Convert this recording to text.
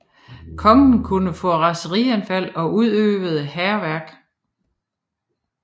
Kongen kunne få raserianfald og udøvede hærværk